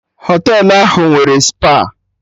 Họtelụ ahụ nwere spa